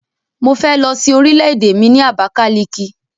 Mo fẹ́ lọ sin orìlè-èdè mi ni Abakaliki.